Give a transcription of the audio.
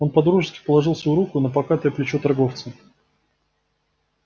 он по-дружески положил свою руку на покатое плечо торговца